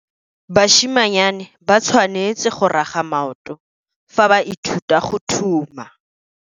Basimanyane ba tshwanetse go raga maoto fa ba ithuta go thuma.